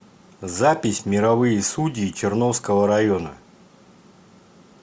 запись мировые судьи черновского района